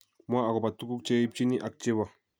Mwa agobo tuguk che ibchini ak chebo